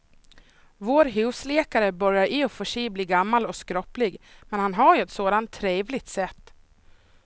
Vår husläkare börjar i och för sig bli gammal och skröplig, men han har ju ett sådant trevligt sätt!